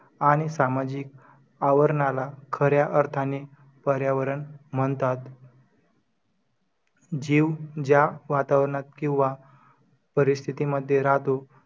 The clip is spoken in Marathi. आणि सामाजिक आवरणला खऱ्या अर्थान पर्यावरण म्हणतात. ﻿. जीव ज्या वातावरणत किंवा परिस्थितीमध्ये राहतो.